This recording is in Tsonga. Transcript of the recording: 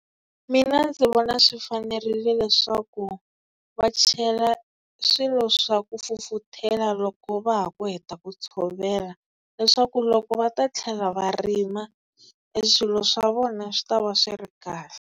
Mina ndzi vona swi fanerile leswaku va chela swilo swa ku fufuthela loko va ha ku heta ku tshovela. Leswaku loko va ta tlhela va rima e swilo swa vona swi ta va ri swi ri kahle.